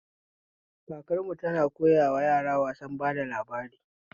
Kakarmu tana koyawa yara wasan bada labari